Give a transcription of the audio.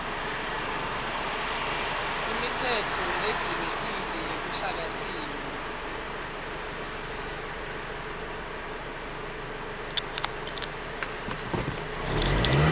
imitsetfo ledzingekile yeluhlakasimo